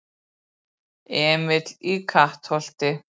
Emil í Kattholti